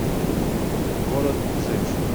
город женщин